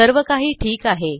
सर्व काही ठीक आहे